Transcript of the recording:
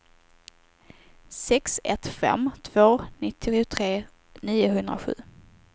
sex ett fem två nittiotre niohundrasju